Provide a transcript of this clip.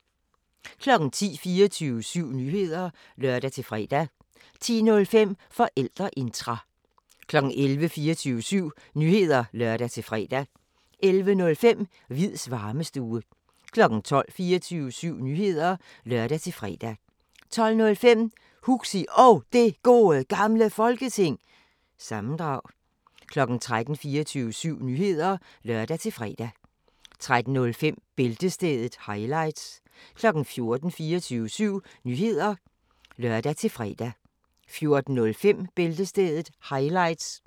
10:00: 24syv Nyheder (lør-fre) 10:05: Forældreintra 11:00: 24syv Nyheder (lør-fre) 11:05: Hviids Varmestue 12:00: 24syv Nyheder (lør-fre) 12:05: Huxi Og Det Gode Gamle Folketing- sammendrag 13:00: 24syv Nyheder (lør-fre) 13:05: Bæltestedet – highlights 14:00: 24syv Nyheder (lør-fre) 14:05: Bæltestedet – highlights